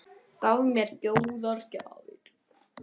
Gaf mér góðar gjafir.